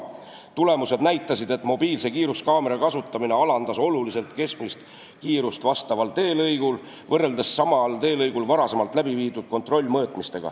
Tulemused näitasid, et mobiilsete kiiruskaamerate kasutamine alandas oluliselt keskmist kiirust vastaval teelõigul võrreldes sellega, mida näitasid samal teelõigul varem läbiviidud kontrollmõõtmised.